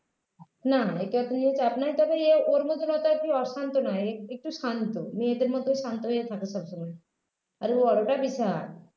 না একে অতো নিয়ে চাপ নেই তবে এ ওর মতো অতো অশান্ত নয় একটু শান্ত মেয়েদের মতো শান্ত হয়ে থাকে সবসময় আর বড়োটা বিশাল